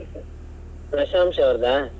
ಪ್ರಶಂಷಾ ಅವ್ರ್ದ?